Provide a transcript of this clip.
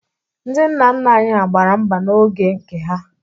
Ndị nna nna anyị hà gbara mgba n'oge nke ha.